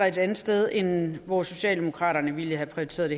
et andet sted end hvor socialdemokraterne ville have prioriteret